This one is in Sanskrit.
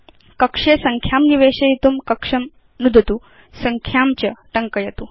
कक्षे संख्यां निवेशयितुं कक्षं नुदतु संख्यां च टङ्कयतु